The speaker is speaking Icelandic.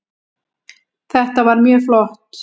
Þetta var mjög flott